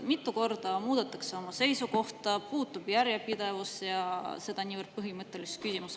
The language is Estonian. Mitu korda muudetakse oma seisukohta, puudub järjepidevus ja seda niivõrd põhimõttelises küsimuses.